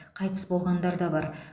қайтыс болғандар да бар